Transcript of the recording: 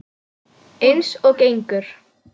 Eins og gengur.